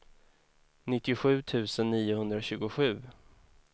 nittiosju tusen niohundratjugosju